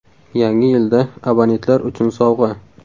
Yangi yilda abonentlar uchun sovg‘a!.